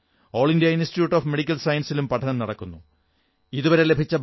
all India Institute of Medical സയൻസസിലും പഠനം നടക്കുന്നുണ്ട്